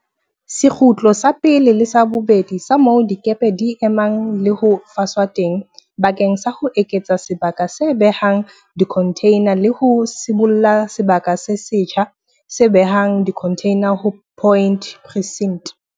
Sekgutlo sa pele le sa bobedi sa moo dikepe di emang le ho faswa teng bakeng sa ho eketsa sebaka se behang dikhontheina le ho sibolla sebaka se setjha se behang dikhontheina ho Point Precinct.